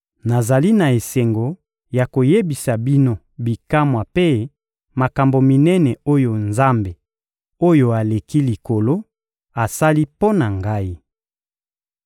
Nazali na esengo ya koyebisa bino bikamwa mpe makambo minene oyo Nzambe-Oyo-Aleki-Likolo asali mpo na ngai!